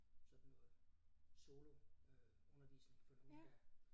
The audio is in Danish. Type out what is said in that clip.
Sådan noget soloundervisning for nogle der